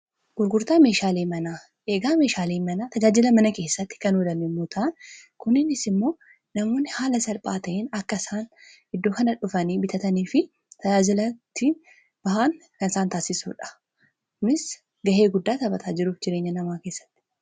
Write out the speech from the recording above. gurgurtaa meehaaliimanaa eegaa meeshaalii mana tajaajila mana keessatti kanoodamin muutaan kuninis immoo namoonni haala salphaata'in akka isaan iddoo kana dhufanii bitatanii fi tajaajilatti bahaan kisaan taasisuudhaunis gahee guddaa taphataa jiruuf jireenya namaa keessatti